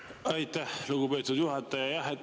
Aitäh, lugupeetud juhataja!